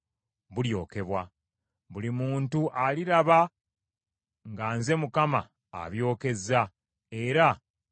Buli muntu aliraba nga nze Mukama abyokezza, era tegulizikizibwa.’ ”